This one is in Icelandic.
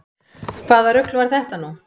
Hvaða rugl var þetta nú?